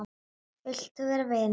Vilt þú vera vinur minn?